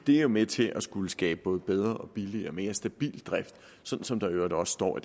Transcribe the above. det er med til at skabe både bedre og billigere og mere stabil drift sådan som der i øvrigt også står